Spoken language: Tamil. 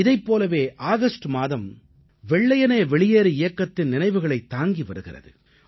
இதைப் போலவே ஆகஸ்ட் மாதம் வெள்ளையனே வெளியேறு இயக்கத்தின் நினைவுகளைத் தாங்கி வருகிறது